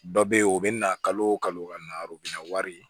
Dɔ bɛ yen o bɛ na kalo kalo narɔ bɛ na wari ye